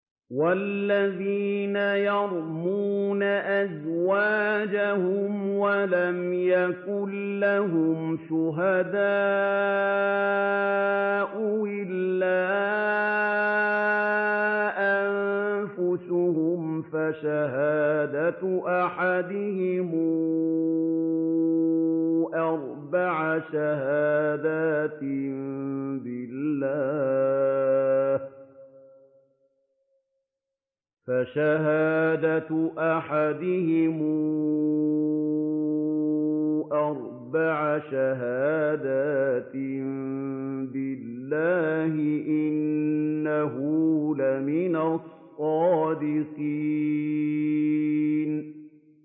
وَالَّذِينَ يَرْمُونَ أَزْوَاجَهُمْ وَلَمْ يَكُن لَّهُمْ شُهَدَاءُ إِلَّا أَنفُسُهُمْ فَشَهَادَةُ أَحَدِهِمْ أَرْبَعُ شَهَادَاتٍ بِاللَّهِ ۙ إِنَّهُ لَمِنَ الصَّادِقِينَ